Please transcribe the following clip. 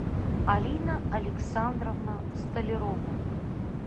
алина александровна столярова